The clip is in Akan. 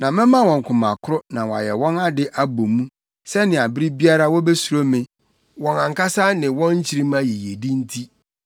Na mɛma wɔn koma koro na wɔayɛ wɔn ade abɔ mu, sɛnea bere biara wobesuro me, wɔn ankasa ne wɔn nkyirimma yiyedi nti.